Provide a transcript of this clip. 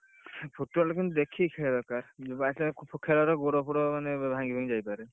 Football କିନ୍ତୁ ଦେଖିକି ଖେଳିବା ଦରକାର by chance ଖେଳରେ ଗୋଡ ଫୋଡ ମାନେ ଭାଙ୍ଗି ଭୁଙ୍ଗୀ ଯାଇ ପାରେ,